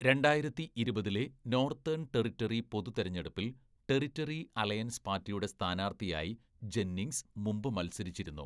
രണ്ടായിരത്തി ഇരുപതിലെ Northern Territory പൊതുതെരഞ്ഞെടുപ്പിൽ ടെറിട്ടറി അലയൻസ് പാർട്ടിയുടെ സ്ഥാനാർത്ഥിയായി ജെന്നിംഗ്സ് മുമ്പ് മത്സരിച്ചിരുന്നു.